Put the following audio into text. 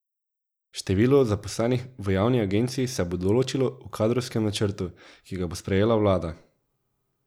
Število zaposlenih v javni agenciji se bo določilo v kadrovskem načrtu, ki ga bo sprejela vlada.